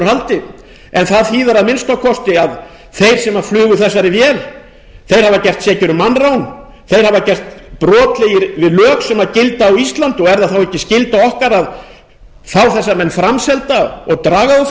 úr haldi það þýðir að minnsta kosti að þeir sem flugu þessari vél hafa gerst sekir um mannrán þeir hafa gerst brotlegir við lög sem gilda á íslandi er þá ekki skylda okkar að fá þessa menn framselda og draga þá fyrir